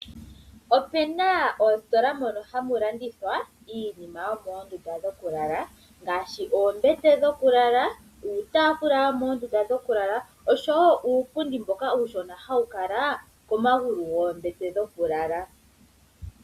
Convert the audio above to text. Ope na oositola mono hamu landithwa iinima yomoondunda dhokulala ngaashi oombete dhokulala, uutaafula womoondunda dhokulala oshowo uupundi mboka uushona hawu kala komagulu goombete dhokulala.